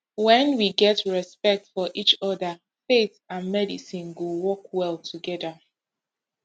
when we get respect for each other faith and medicine go work well together